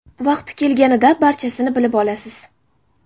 Vaqti kelganida barchasini bilib olasiz.